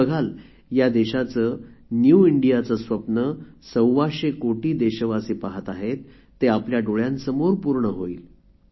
आपण बघाल या देशाचे न्यू इंडियाचे स्वप्न सव्वाशे कोटी देशवासी पहात आहेत ते आपल्या डोळ्यांसमोर पूर्ण होईल